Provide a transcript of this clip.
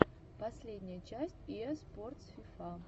последняя часть иа спортс фифа